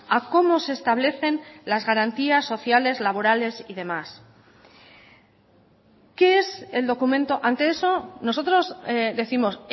a cómo se establecen las garantías sociales laborales y demás qué es el documento ante eso nosotros décimos